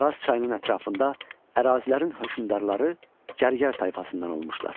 Araz çayının ətrafında ərazilərin hökmdarları Gərgər tayfasından olmuşdur.